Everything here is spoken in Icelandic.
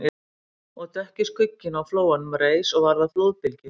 Og dökki skugginn á flóanum reis og varð að flóðbylgju